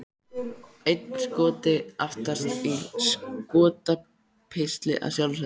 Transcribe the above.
Einn Skoti aftast, í Skotapilsi að sjálfsögðu!